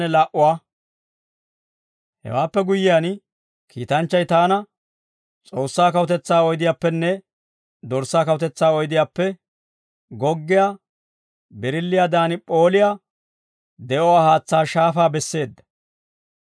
Hewaappe guyyiyaan, kiitanchchay taana S'oossaa kawutetsaa oydiyaappenne Dorssaa kawutetsaa oydiyaappe goggiyaa birilliiyaadan p'ooliyaa de'uwaa haatsaa shaafaa besseedda.